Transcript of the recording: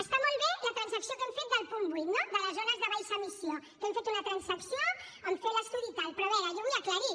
està molt bé la transacció que hem fet del punt vuit no de les zones de baixa emissió que hem fet una transacció en fer l’estudi i tal però a veure jo ho vull aclarir